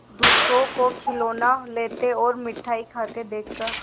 दूसरों को खिलौना लेते और मिठाई खाते देखकर